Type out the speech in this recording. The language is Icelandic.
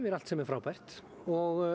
allt sem er frábært og